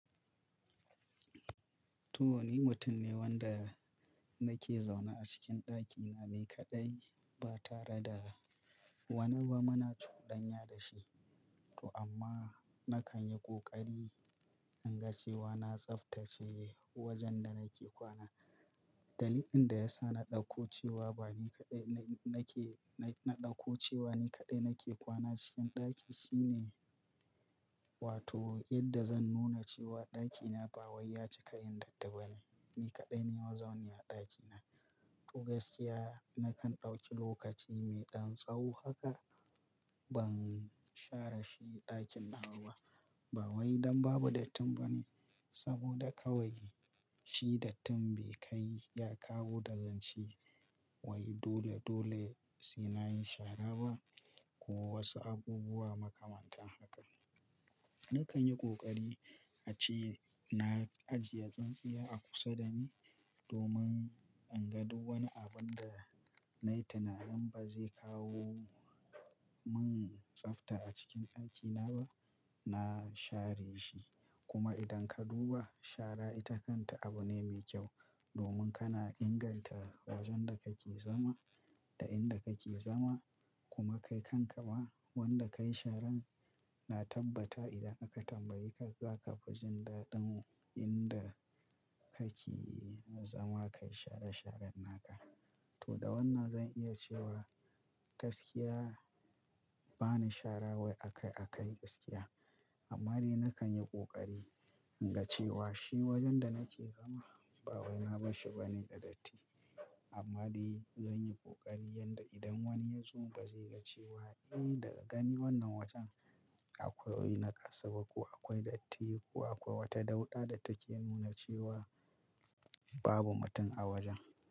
To, wani mutum ne wanda nake zaune a cikin ɗakina me kaɗai ba tare da wani ba. Muna cudanya da shi. To amma nakan yi ƙoƙari in ga cewa na tsaftace wajen da nake kwana. Dalilin da ya sa na ɗauko cewa bani kaɗai nake, na ɗauko cewa ni kaɗai nake kwana cikin ɗaki shine, wato yadda zan nuna cewa ɗakina ba waya cika yin dattabai. Ni kaɗai ne mazauni a ɗakina. To gaskiya nakan ɗauki lokaci mai ɗan tsaho haka ban share shi ɗakin na ba. Ba wai don babu dattin bane saboda kawai shi dattin be kai ya kawo darasi. Wai dole-dole suna yin shara ba ko wasu abubuwa makamantan haka. Nakan yi ƙoƙari ace na ajiye tsintsiya a kusa da ni domin in ga duk wani abun da na yi tunanin ba zai kawo min tsafta a cikin ɗakina ba, na share shi. Kuma idan ka duba shara ita kanta abu ne mai kyau domin kana inganta wajen da kake zama da inda kake zama kuma kai kanka ma, wanda ka yi sharan na tabbata idan aka tambaye ka zaka fi jin daɗin inda kake zama ka yi share sharan naka to da wannan zan iya cewa gaskiya ba ni shara wai akai-akai gaskiya. Amma dai nakan yi ƙoƙari, in ga cewa shi wajen da nake zama ba wai na bashi bane da datti. Amma dai zan yi ƙoƙari, yadda idan wani ya zo ba zai ga cewa daga gani wannan wajen akwai naƙasaba ko akwai datti ko akwai wata dauda da take nuna cewa babu mutum a wajen.